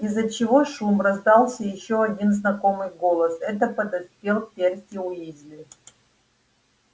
из-за чего шум раздался ещё один знакомый голос это подоспел перси уизли